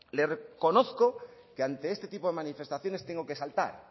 le reconozco que ante este tipo de manifestaciones tengo que saltar